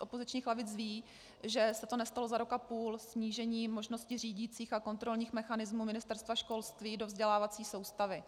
opozičních lavic vědí, že se to nestalo za rok a půl - snížení možností řídicích a kontrolních mechanismů Ministerstva školství do vzdělávací soustavy.